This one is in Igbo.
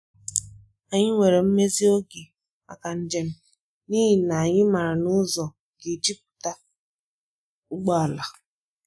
Anyị nyere mmezi oge maka njem, n’ihi na anyị maara na ụzọ ga-ejupụta ụgbọala.